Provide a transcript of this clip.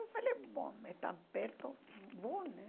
Eu falei, bom, é tão perto, vou, né?